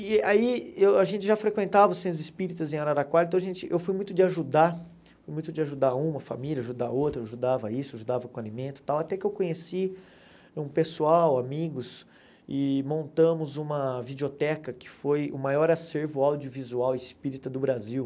E aí eu a gente já frequentava os Centros Espíritas em Araraquara, então a gente eu fui muito de ajudar, fui muito de ajudar uma família, ajudar outra, eu ajudava isso, ajudava com alimento e tal, até que eu conheci um pessoal, amigos, e montamos uma videoteca que foi o maior acervo audiovisual espírita do Brasil.